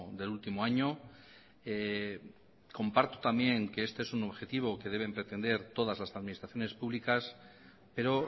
del último año comparto también que este es un objetivo que deben pretender todas las administraciones públicas pero